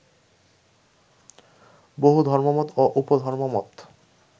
বহু ধর্মমত ও উপধর্মমত